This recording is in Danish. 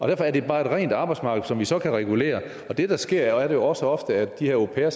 derfor er det bare et rent arbejdsmarked som vi så kan regulere og det der sker er jo også ofte at de her au pairer